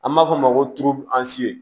An b'a f'o ma ko turu an siri